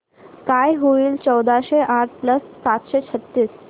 काय होईल चौदाशे आठ प्लस सातशे छ्त्तीस